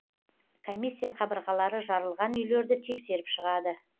комиссия қабырғалары жарылған үйлерді тексеріп шығады